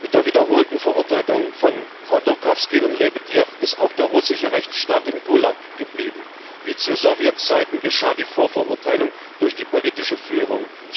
Mit der wiederholten Verurteilung von Chodorkowski und Lebedjew ist auch der russische Rechtsstaat im Gulag geblieben. Wie zu Sowjetzeiten geschah die Vorverurteilung durch die politische Führung.